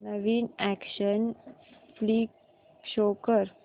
नवीन action flick show कर